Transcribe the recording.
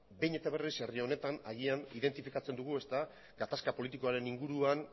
beno ba behin eta berriz herri honetan agian identifikatzen dugu gatazka politikoaren inguruan